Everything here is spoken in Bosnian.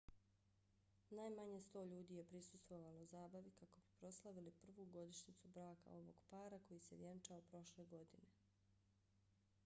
najmanje 100 ljudi je prisustvovalo zabavi kako bi proslavili prvu godišnjicu braka ovog para koji se vjenčao prošle godine